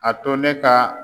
A to ne ka